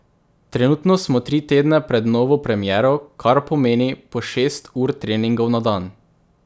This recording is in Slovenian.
Trenutno smo tri tedne pred novo premiero, kar pomeni po šest ur treningov na dan.